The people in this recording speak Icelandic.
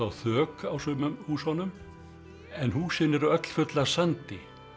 þök á sumum húsunum en húsin eru öll full af sandi